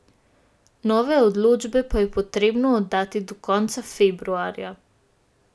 Nove odločbe pa je potrebno oddati do konca februarja!